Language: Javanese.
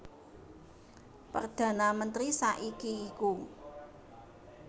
Perdhana mentri saiki iku